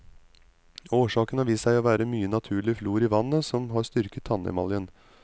Årsaken har vist seg å være mye naturlig fluor i vannet som har styrket tannemaljen.